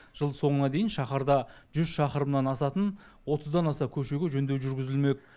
жыл соңына дейін шаһарда жүз шақырымнан асатын отыздан аса көшеге жөндеу жүргізілмек